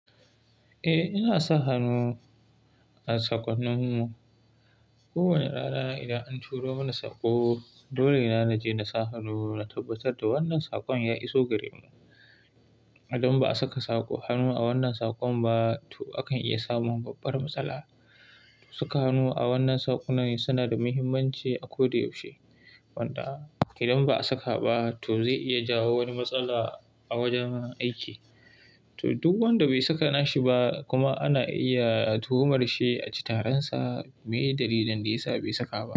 Eh, ina sa hannu a sakonnin mu. Kowane rana idan an turo mana saƙo, dole na naje na saka hannu na tabbatar da wannan sakon ya iso gare mu. Idan ba a saka saƙo hannu a wannan sakon ba, to akan iya samun babbar matsala. Saka hannu a wannan sakonnai suna da muhimmanci a ko da yaushe. Wanda idan ba a saka ba, to zai iya jawo wani matsala a wajen aiki. To duk wanda bai saka nashi ba kuma ana iya tuhumar shi a ci taransa me dalilin da yasa bai saka ba.